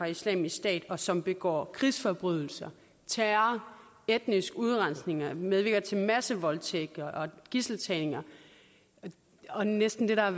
islamisk stat og som begår krigsforbrydelser terror etnisk udrensning medvirker til massevoldtægt gidseltagning og næsten det der er